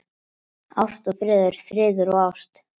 Ást og friður, friður og ást.